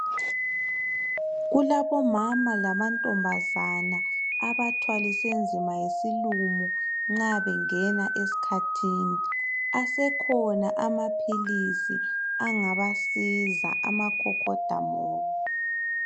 kulabomama lamantombazana abathwaliswe nzima yisilumo nxa bengena esikhathini asekhona amaphilisi angabasiza amakhokhodamoya